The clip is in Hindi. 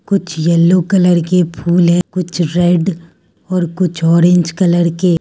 कुछ येल्लो कलर के फूल है कुछ रेड और कुछ ऑरेंज कलर के --